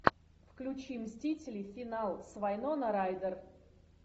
включи мстители финал с вайнона райдер